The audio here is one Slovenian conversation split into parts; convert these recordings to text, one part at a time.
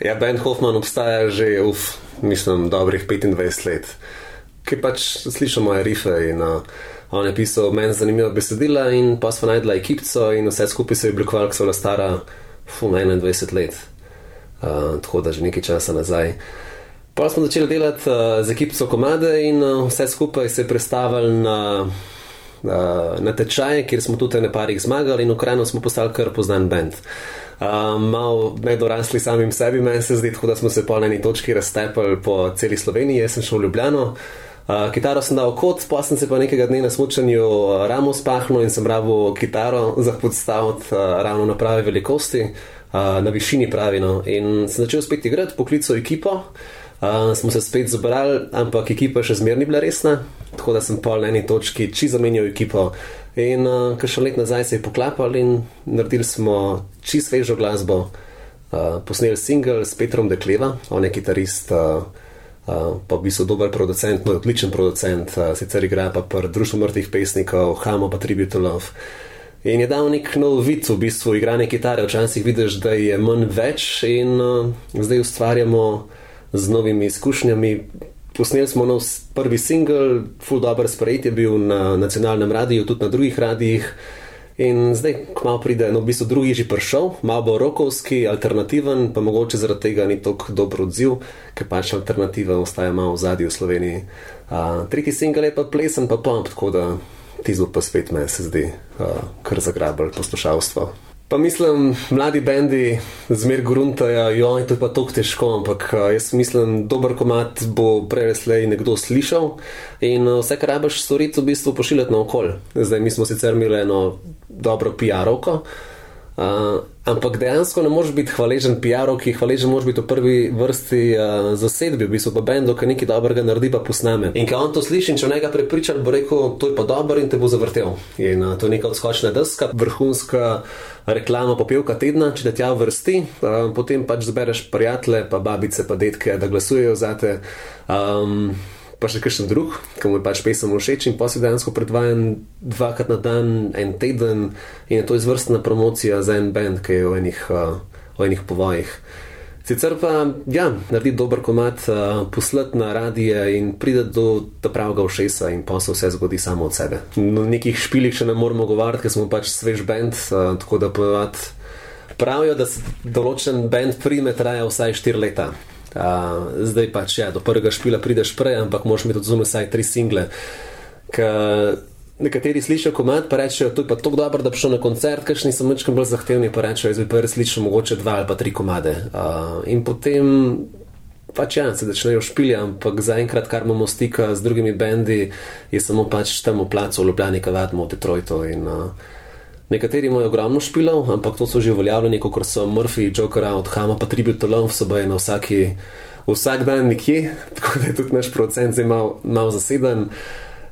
Ja, Ben Hoffman obstaja že, mislim, dobrih petindvajset let. Ker pač sem slišal moje rife in, on je pisal meni zanimiva besedila in pol sva našla ekipico in vse skupaj se je oblikovalo, ko sva bila stara, enaindvajset let. tako da že nekaj časa nazaj. Pol smo začeli delati, z ekipico komade in, vse skupaj se je prestavilo na, natečaj, kjer smo tudi ene par jih zmagali in v Kranju smo postali kar poznan bend. malo nedorasli samim sebi, meni se zdi, tako da smo se pol na eni točki raztepli po celi Sloveniji. Jaz sem šel v Ljubljano, kitaro sem dal v kot, pol sem si pa nekega dne na smučanju, ramo spahnil in sem rabil kitaro za podstaviti, ravno prave velikosti. na višini pravi, no, in sem začel spet igrati, poklical ekipo. in smo se spet zbrali, ampak ekipa še zmeraj ni bila resna, tako da sem pol na eni točki čisto zamenjal ekipo. In, kakšno leto nazaj se je poklapalo in naredili smo čisto svežo glasbo. posneli singel s Petrom Dekleva, on je kitarist, pa v bistvu dober producent, no, odličen producent, sicer igra pa pri Društvo mrtvih pesnikov, Hamo pa Tribute Two Love. In je dal neki novi vid v bistvu igranje kitare, včasih vidiš, da je manj več in, zdaj ustvarjamo z novimi izkušnjami, posneli smo nov prvi singel, ful dobro sprejet je bil na nacionalnem radiu tudi na drugih radiih. In zdaj kmalu pride, no, v bistvu drugi je že prišel, malo bo rockovski, alternativen pa mogoče zaradi tega ni tako dober odziv, ker pač alternativa ostaja malo v ozadju v Sloveniji. tretji singel je plesni pa pop, tako da tisti bo pa spet meni se zdi, kar zagrabilo poslušalstvo. Pa mislim, mladi bendi zmeraj gruntajo, to je pa tako težko, ampak jaz mislim, dober komad bo prej ali slej nekdo slišal in, vse, kar rabiš storiti, je, v bistvu pošiljati naokoli. Zdaj mi smo imeli sicer eno dobro piarovko, ampak dejansko ne moreš bi hvaležen piarovki, hvaležen moraš biti v prvi vrsti, zasedbi, v bistvu pa bendu, ko nekaj dobrega naredi pa posname, in ke on to sliši, in če njega prepriča, bo rekel: "To je pa dobro," in te bo zvrtel. In, to je neka odskočna deska, vrhunska reklamna popevka tedna, če te tja uvrsti, potem pač zbereš prijatelje pa babice pa dedke, da glasujejo zate, pa še kakšen drug, ke mu je pač pesem všeč, in pol si dejansko predvajan dvakrat na dan en teden in je to izvrstna promocija za en bend, ki je v enih, v enih povojih. Sicer pa, ja, narediti dober komad, poslati na radie in priti do ta pravga ušesa in pol se vse zgodi samo od sebe. No, o nekih špilih še ne moremo govoriti, ker smo pač svež bend, tako da ponavadi pravijo, da se določen bend prime, traja vsaj štiri leta. zdaj pač ja do prvega špila prideš prej, ampak moraš imeti zunaj vsaj tri single. Ke nekateri slišijo komad, pa rečejo: "To je pa tako dobro, da bi šel na koncert," kakšni so mičkeno bolj zahtevni pa rečejo: "Zdaj bi pa rad dva ali pa tri komade," in potem pač ja, se začnejo špili, ampak zaenkrat, kar imamo stika z drugimi bendi, je samo pač tam v placu v Ljubljani, ke vadimo, in, nekateri imajo ogromno špilov, ampak to so že uveljavljeni, kakor so Mrfiji, Joker out, Hamo pa Tribute Two Love, so baje na vsaki, vsak dan nekje, tako da je tudi naš producent zdaj malo, malo zaseden.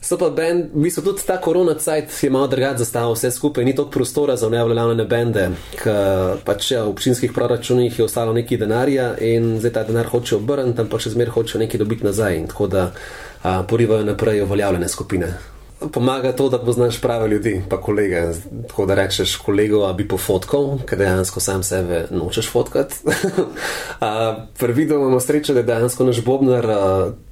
So pa bend v bistvu, tudi ta korona cajt je malo drugače zastavil vse skupaj, ni toliko prostora za neuveljavljene bende, ke pač, ja, v občinskih proračunih je ostalo nekaj denarja in zdaj ta denar hočejo obrniti, ampak že zmeraj hočejo nekaj dobiti nazaj in, tako da, porivajo naprej uveljavljene skupine. pomaga to, da poznaš prave ljudi pa kolege, tako da rečeš kolegu: "A bi pofotkal," ke dejansko sam sebe nočeš fotkati, Pri videu imamo srečo, da dejansko naš bobnar,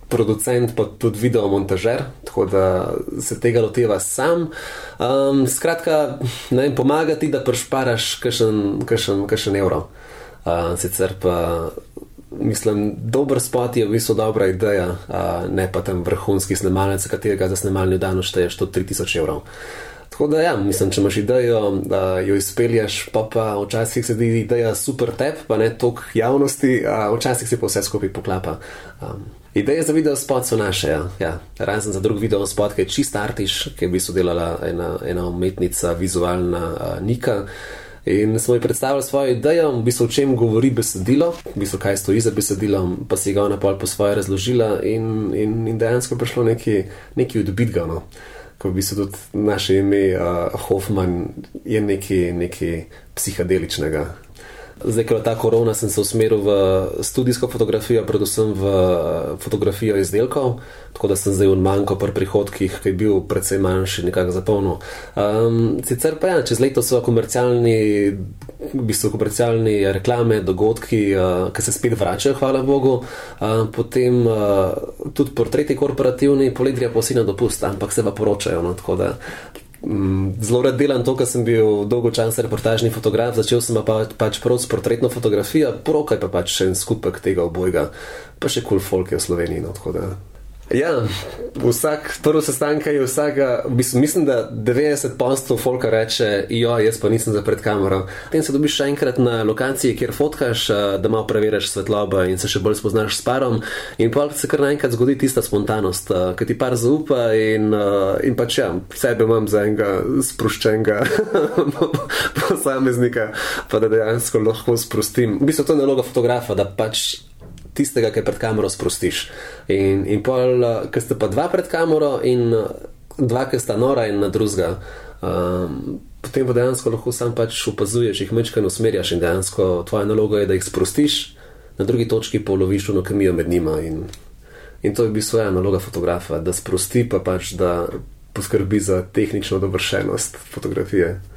producent pa tudi video montažer, tako da se tega loteva sam, skratka, ne vem, pomaga ti, da prišparaš kakšen, kakšen, kakšen evro. sicer pa, mislim dober spot je v bistvu dobra ideja, ne pa tam vrhunski snemalec, katerega za snemalni dan odšteješ tudi tri tisoč evrov. Tako da ja, mislim, če imaš idejo, jo izpelješ, po pa včasih se zdi ideja super tebi pa ne toliko javnosti, včasih se pa vse skupaj poklapa, Ideje za videospot so naše, ja, ja. Razen za drug videospot, ke je čisto artiš, ke je v bistvu delala ena, ena umetnica vizualna, Nika. In smo ji predstavili svojo idejo, v bistvu o čem govori besedilo, v bistvu, kaj stoji za besedilom, pa si ga je ona pol po svoje razložila in, in, in dejansko je prišlo nekaj, nekaj odbitega, no. Ko v bistvu tudi naše ime, Hoffman je nekaj, nekaj psihadeličnga. Zdaj, ko je ta korona, sem se usmeril v studijsko fotografijo, predvsem v fotografijo izdelkov. Tako da sem zdaj oni manko pri prihodkih, ko je bil precej manjši, nekako zapolnil. sicer pa ja, čez leto so komercialni v bistvu v komercialni, reklame, dogodki, ke se spet vračajo hvala bogu. potem, tudi pri tretji korporativni, poleti grejo pa vsi na dopust, ampak se pa poročajo, no, tako da. zelo rad delam to, ke sem bil dolgo časa reportažni fotograf, začel sem pa pač prav s portretno fotografijo, poroka je pa pač še en skupek tega obojega, pa še kul folk je v Sloveniji, no, tako da, ja. Vsak prvi sestanek, ke je vsak ga v bistvu, mislim, da devetdeset posto folka reče: jaz pa nisem za pred kamero." Potem se dobiš še enkrat na lokaciji, kjer fotkaš, da malo preveriš svetlobo in se še bolj spoznaš s parom. In pol se kar naenkrat zgodi tista spontanost, ke ti par zaupa in, in pač, ja. Sebe imam za enega, sproščenega posameznika pa da dejansko lahko sprostim, v bistvu to je naloga fotografa, da pač tistega, ki je pred kamero, sprostiš. In in pol, ko sta pa dva pred kamero, in dva, ke sta nora en na drugega, potem pa dejansko lahko samo pač opazuješ, jih mičkeno usmerjaš in dejansko tvoja naloga je, da jih sprostiš, na drugi točki pa uloviš ono kemijo med njima in to je v bistvu, ja, naloga fotografa, da sprosti pa pač, da poskrbi za tehnično dovršenost fotografije.